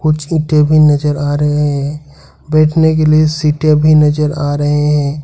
कुछ ईटे भी नजर आ रहे हैं बैठने के लिए सीटे भी नजर आ रहे हैं।